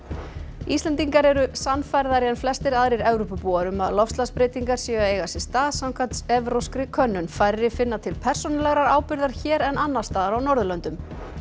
Íslendingar eru sannfærðari en flestir aðrir Evrópubúar um að loftslagsbreytingar séu að eiga sér stað samkvæmt evrópskri könnun færri finna til persónulegrar ábyrgðar hér en annars staðar á Norðurlöndum